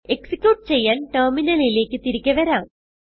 execute ചെയ്യാൻ ടെർമിനലിലേക്ക് തിരികെ വരാം